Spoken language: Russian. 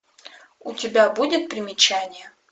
у тебя будет примечание